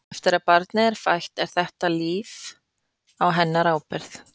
Eftir að barnið er fætt er þetta líf á hennar ábyrgð.